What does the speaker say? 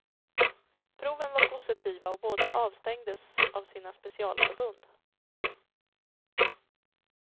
Proven var positiva och båda avstängdes av sina specialförbund.